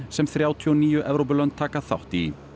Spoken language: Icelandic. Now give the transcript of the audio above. sem þrjátíu og níu Evrópulönd taka þátt í